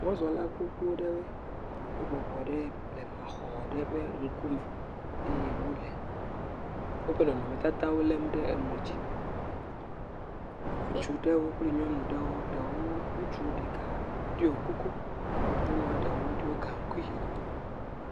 Mɔzɔla gbogbo ɖewoe, wo bɔbɔ ɖe blemaxɔ ɖe ƒe ŋkume. Eye wole woƒe nɔnɔmetatawo lém ɖe emɔ̃dzi. Ŋutsu ɖewo kple nyɔnu ɖewo, ɖewo, ŋutsu ɖeka ɖiɔ kuku. Nyɔnua ɖewo do gaŋkui.